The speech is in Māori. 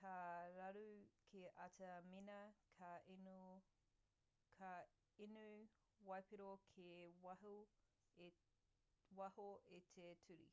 ka raru kē atu mēnā ka inu waipiro kei waho i te ture